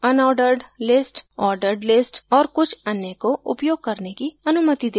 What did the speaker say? unordered list ordered list और कुछ अन्य को उपयोग करने की अनुमति देता है